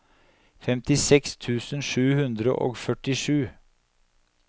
femtiseks tusen sju hundre og førtisju